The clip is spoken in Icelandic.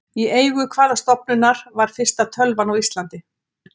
Í eigu hvaða stofnunar var fyrsta tölvan á Íslandi?